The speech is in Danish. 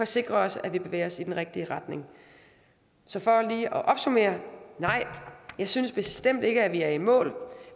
sikre os at vi bevæger os i den rigtige retning så for lige at opsummere nej jeg synes bestemt ikke at vi er i mål